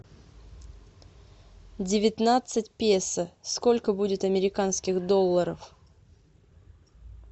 девятнадцать песо сколько будет американских долларов